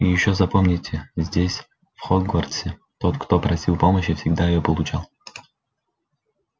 и ещё запомните здесь в хогвартсе тот кто просил помощи всегда её получал